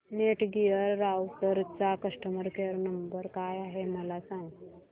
Netgear राउटरचा customer care number काय आहे मला सांग